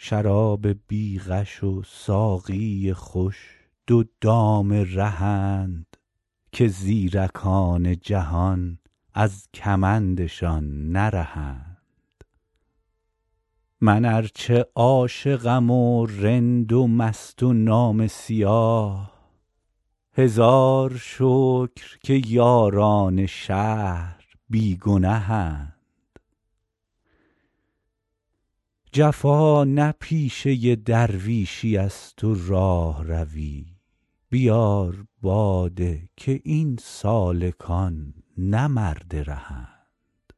شراب بی غش و ساقی خوش دو دام رهند که زیرکان جهان از کمندشان نرهند من ار چه عاشقم و رند و مست و نامه سیاه هزار شکر که یاران شهر بی گنهند جفا نه پیشه درویشیست و راهروی بیار باده که این سالکان نه مرد رهند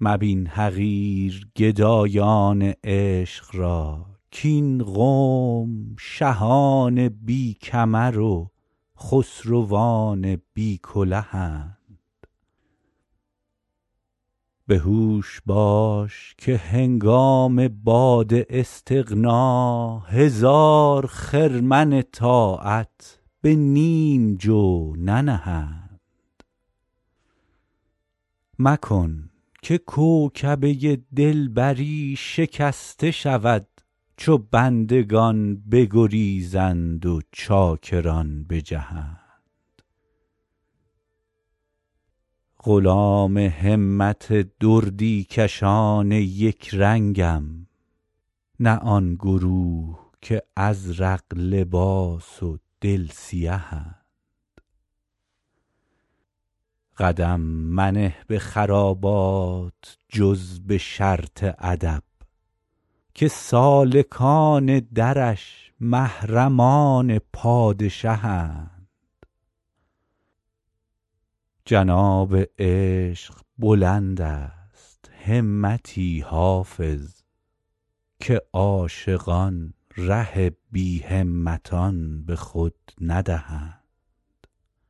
مبین حقیر گدایان عشق را کاین قوم شهان بی کمر و خسروان بی کلهند به هوش باش که هنگام باد استغنا هزار خرمن طاعت به نیم جو ننهند مکن که کوکبه دلبری شکسته شود چو بندگان بگریزند و چاکران بجهند غلام همت دردی کشان یک رنگم نه آن گروه که ازرق لباس و دل سیهند قدم منه به خرابات جز به شرط ادب که سالکان درش محرمان پادشهند جناب عشق بلند است همتی حافظ که عاشقان ره بی همتان به خود ندهند